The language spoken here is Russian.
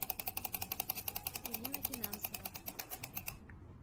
ирина финансова